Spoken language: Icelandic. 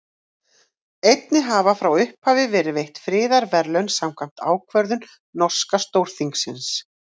Einnig hafa frá upphafi verið veitt friðarverðlaun samkvæmt ákvörðun norska Stórþingsins.